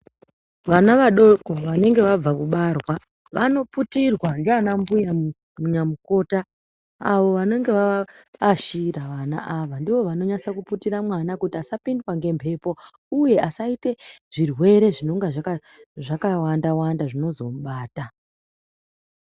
Vana vadoko vanenge vabva kubarwa vanoputirwa ngeana mbuya nyamukota avo vanenge vava ashira vana ava ndoo vanonyatsa kuputira ana kuti asapindwa nembepo iye asaite zvirwere zvinonga zvakawanda wanda zvinozomubata.